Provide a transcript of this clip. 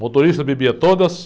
Motorista, bebia todas.